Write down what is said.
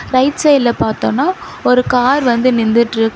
Right சைடுல பாத்தோனா ஒரு கார் வந்து நின்னுட்ருக்கு.